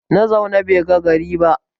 Na zaune bai ga gari ba